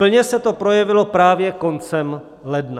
Plně se to projevilo právě koncem ledna.